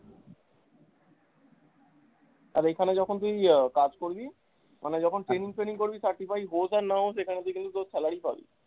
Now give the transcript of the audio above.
আর এখানে যখন তুই আহ কাজ করবি মানে যখন training ফেনিং করবি certify হস আর না হস এখানে কিন্তু তুই তোর salary পাবি।